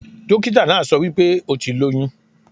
Dókítà náà so wípé o ti lóyún